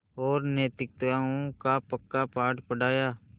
और नैतिकताओं का पक्का पाठ पढ़ाया